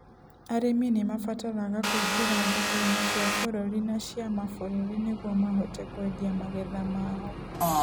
Arĩmi nĩ mabataraga kũingĩra thoko-inĩ cia bũrũri na cia mabũrũri nĩguo mahote kwendia magetha mao.